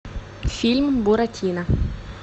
фильм буратино